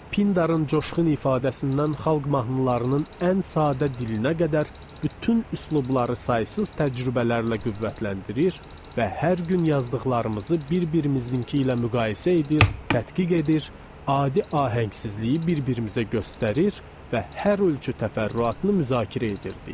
Pindarın coşğun ifadəsindən xalq mahnılarının ən sadə dilinə qədər bütün üslubları saysız təcrübələrlə qüvvətləndirir və hər gün yazdıqlarımızı bir-birimizinki ilə müqayisə edir, tədqiq edir, adi ahəngsizliyi bir-birimizə göstərir və hər ölçü təfərrüatını müzakirə edirdik.